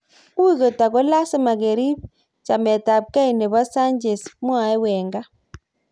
"Ui kot ako lasima keriib chamet ab kei nebo Sanchez", mwae Wenga